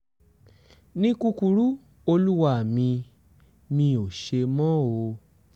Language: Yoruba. ní kúkúrú olúwa mi mi ò ṣe mọ́ o